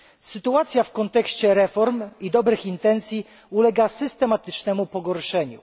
Sytuacja w kontekście reform i dobrych intencji ulega systematycznemu pogorszeniu.